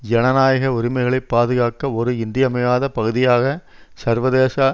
ஜனநாயக உரிமைகளை பாதுகாக்க ஒரு இன்றியமையாத பகுதியாக சர்வதேச